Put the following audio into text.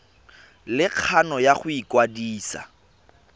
le kgano ya go ikwadisa